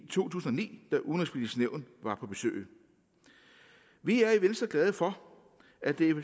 tusind og ni da udenrigspolitisk nævn var på besøg vi er i venstre glade for at der